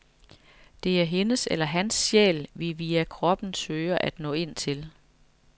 Det er hendes eller hans sjæl, vi via kroppen søger at nå ind til.